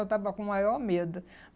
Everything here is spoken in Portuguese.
Eu estava com maior medo.